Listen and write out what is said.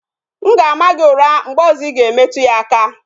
M ga-ama gị ụra mgbe ọzọ Ị ga-emetu ya aka